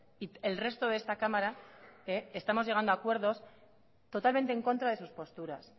y el resto de esta cámara estemos llegando a acuerdos totalmente en contra de sus posturas